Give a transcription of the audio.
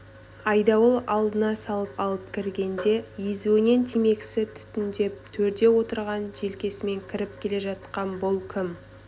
айдауыл алдына салып алып кіргенде езуінен темекісі түтіндеп төрде отырған желкесімен кіріп келе жатқан бұл кім